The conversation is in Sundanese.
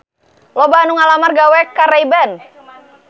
Loba anu ngalamar gawe ka Ray Ban